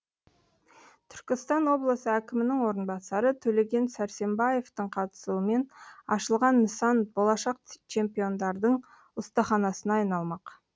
түркістан облысы әкімінің орынбасары төлеген сәрсембаевтің қатысуымен ашылған нысан болашақ чемпиондардың ұстаханасына айналмақ